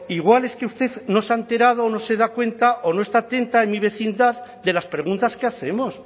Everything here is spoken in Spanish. igual es que usted no se ha enterado o no se da cuenta o no está atenta en mi vecindad de las preguntas que hacemos